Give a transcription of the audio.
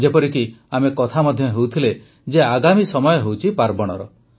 ଯେପରିକି ଆମେ କଥା ମଧ୍ୟ ହେଉଥିଲେ ଯେ ଆଗାମୀ ସମୟ ହେଉଛି ପାର୍ବଣର